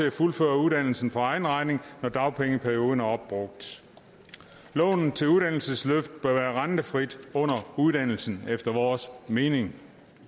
at fuldføre uddannelsen for egen regning når dagpengeperioden er opbrugt lånet til uddannelsesløft bør være rentefrit under uddannelsen efter vores mening